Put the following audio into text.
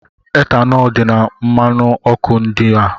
Etanọl dị na mmanụ ọkụ ndị a.